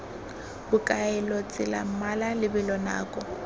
bokaelo tsela mmala lebelo nako